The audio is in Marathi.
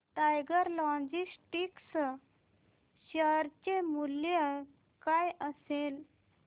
टायगर लॉजिस्टिक्स शेअर चे मूल्य काय असेल